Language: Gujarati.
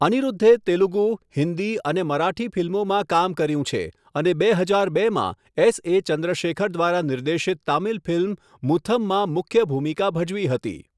અનિરુદ્ધે તેલુગુ, હિન્દી અને મરાઠી ફિલ્મોમાં કામ કર્યું છે અને બે હજાર બેમાં એસએ ચંદ્રશેખર દ્વારા નિર્દેશિત તામિલ ફિલ્મ મુથમમાં મુખ્ય ભૂમિકા ભજવી હતી.